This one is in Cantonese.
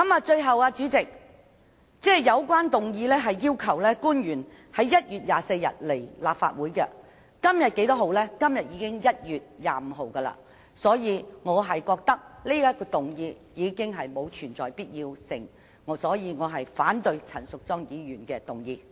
最後，主席，本議案要求官員在1月24日來立法會，而今天已是1月25日，此項議案已再無提出的必要，因此我反對陳淑莊議員的議案。